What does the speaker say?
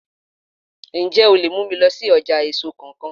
Ǹjẹ́ o lè mú mi lọ sí ọjà èso kan kan?